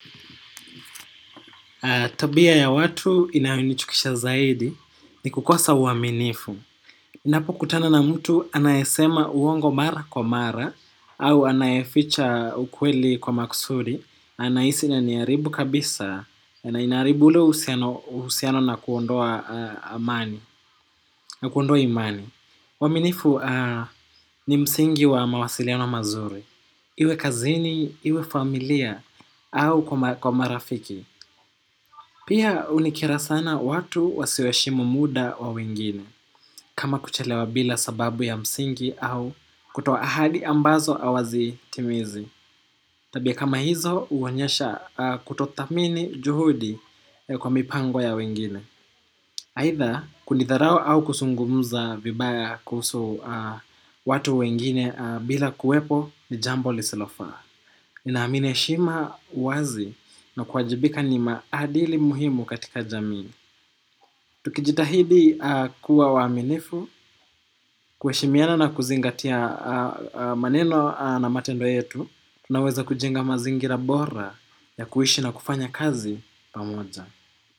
Tabia ya watu inayonichukisha zaidi ni kukosa uaminifu ninapokutana na mtu anayesema uongo mara kwa mara au anayeficha ukweli kwa maksudi. Anahisi na niharibu kabisa. Na inaharibu ule uhusiano na kuondoa imani. Uaminifu ni msingi wa mawasiliano mazuri. Iwe kazini, iwe familia au kwa marafiki. Pia hunikera sana watu wasiohe shimu muda wa wengine, kama kuchelewa bila sababu ya msingi au kutoahadi ambazo hawazi timizi. Tabia kama hizo huonyesha kutothamini juhudi kwa mipango ya wengine. Aidha kunidharau au kuzungumza vibaya kuhusu watu wengine bila kuwepo ni jambo lisilofaa. Naamini heshima uwazi na kuwajibika ni maadili muhimu katika jamii. Tukijitahidi kuwa waaminifu, kuheshimiana na kuzingatia maneno na matendo yetu, tunaweza kujenga mazingira bora ya kuishi na kufanya kazi pamoja.